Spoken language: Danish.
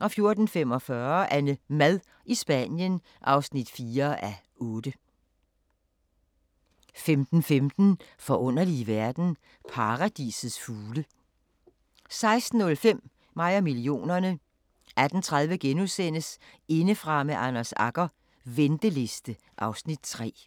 14:45: AnneMad i Spanien (4:8) 15:15: Forunderlige verden – Paradisets fugle 16:05: Mig og millionerne 18:30: Indefra med Anders Agger - venteliste (Afs. 3)*